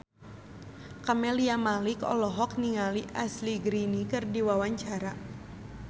Camelia Malik olohok ningali Ashley Greene keur diwawancara